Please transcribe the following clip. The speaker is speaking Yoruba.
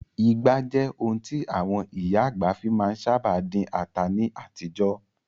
Ìgbá jẹ́ ohun tí àwọn ìyá àgbà fi má ń sábà dín ata ní àtijọ́.